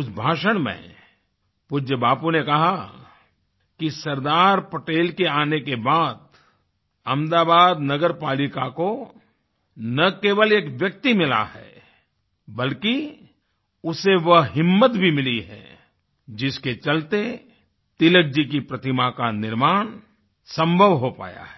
उस भाषण में पूज्य बापू ने कहा कि सरदार पटेल के आने के बाद अहमदाबाद नगर पालिका को न केवल एक व्यक्ति मिला है बल्कि उसे वह हिम्मत भी मिली है जिसके चलते तिलक जी की प्रतिमा का निर्माण संभव हो पाया है